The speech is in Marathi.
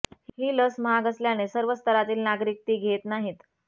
ही लस महाग असल्याने सर्व स्तरातील नागरिक ती घेत नाहीत